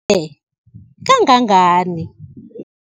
e kangangani?